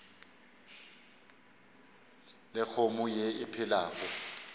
le kgomo ye e phelago